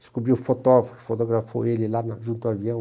Descobri o fotógrafo que o fotografou ele lá junto ao avião.